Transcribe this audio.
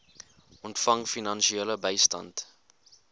ontvang finansiële bystand